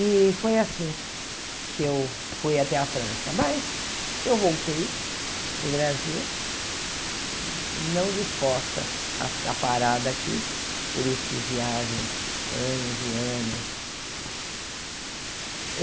E foi assim que eu fui até a França, mas eu voltei para o Brasil não disposta a ficar parada aqui, por isso fiz viagens anos e anos.